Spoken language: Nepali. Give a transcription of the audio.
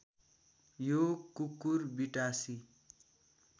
यो कुकुरबिटासी